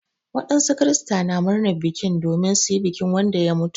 Wadansu kirista na murnar bikin domin su yi bikin Wanda ya mutu.